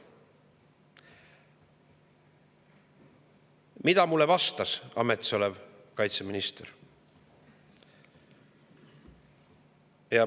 Mida vastas mulle ametis olev kaitseminister?